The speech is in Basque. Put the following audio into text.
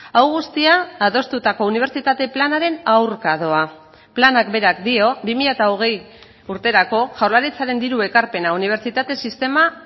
hau guztia adostutako unibertsitate planaren aurka doa planak berak dio bi mila hogei urterako jaurlaritzaren diru ekarpena unibertsitate sistema